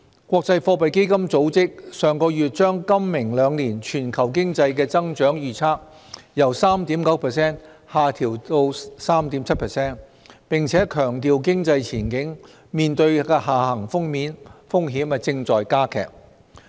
國際貨幣基金組織上月把今明兩年全球經濟的增長預測由 3.9% 下調至 3.7%， 並且強調經濟前景面對的下行風險正在加劇。